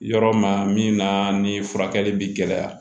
Yɔrɔ ma min na ni furakɛli bi gɛlɛya